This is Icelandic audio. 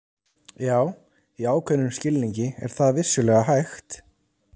Já, í ákveðnum skilningi er það vissulega hægt.